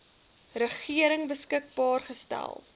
regering beskikbaar gestel